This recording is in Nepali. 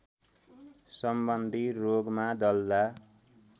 सम्बन्धी रोगमा दल्दा